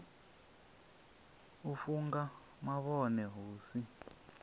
u funga mavhone hu si